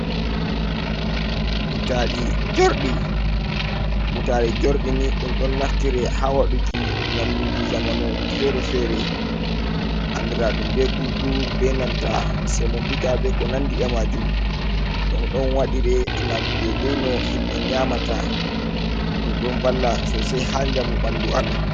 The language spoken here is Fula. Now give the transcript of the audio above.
Butali jorɗi, butali jurɗi ni, ɗum ɗon naftire ha waduki nyamduji zamanu fere-fere, andradum be guggur, be nanta semo bita, be ko nandi e majum, ɗom ɗon waɗire gam ɗe dai no himɓe nyamata, ɗum ɗon valla sosei ha jamu ɓandu amin.